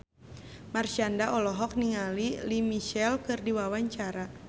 Marshanda olohok ningali Lea Michele keur diwawancara